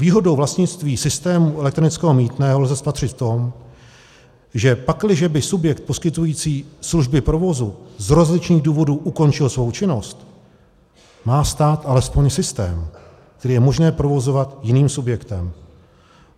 Výhodu vlastnictví systému elektronického mýtného lze spatřit v tom, že pakliže by subjekt poskytující služby provozu z rozličných důvodů ukončil svou činnost, má stát alespoň systém, který je možné provozovat jiným subjektem.